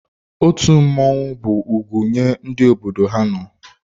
Otu mmọnwụ bụ ugwu nye ndị obodo ha nọ.